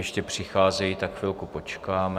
Ještě přicházejí, tak chvilku počkáme.